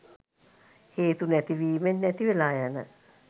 හේතු නැතිවීමෙන් නැතිවෙලා යන